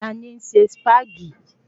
Ta ni ń se Sípàgì?